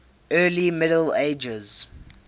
early middle ages